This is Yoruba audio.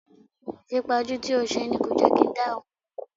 Ìfipajú tí o ṣe ni kò jẹ́ kí n dá ẹ mò mọ́.